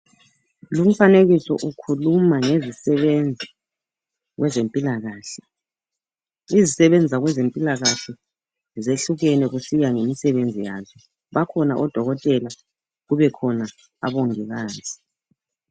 Lumfanekiso ukhuluma ngezisebenzi ezempilakahle izisebenzi zakweze mpilakahle zehlukene kusiya ngemisebenzi yazo bakhona odokotela kube khona omongikazi.